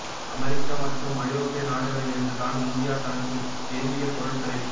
America மற்றும் ஐரோப்பிய நாடுகளில் இருந்துதான் இந்தியா தனக்கு வேண்டிய பொருட்களில்